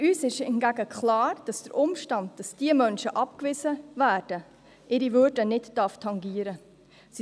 Für uns ist hingegen klar, dass der Umstand, dass diese Menschen abgewiesen werden, ihre Würde nicht tangieren darf.